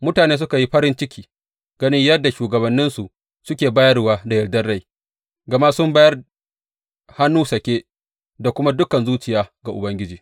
Mutane suka yi farin ciki ganin yadda shugabanninsu suke bayarwa da yardar rai, gama sun bayar hannu sake da kuma dukan zuciya ga Ubangiji.